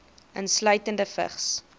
insluitende vigs